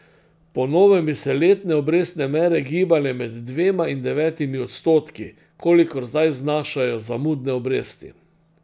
Po novem bi se letne obrestne mere gibale med dvema in devetimi odstotki, kolikor zdaj znašajo zamudne obresti.